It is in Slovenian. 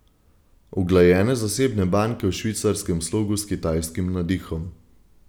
Uglajene zasebne banke v švicarskem slogu s kitajskim nadihom.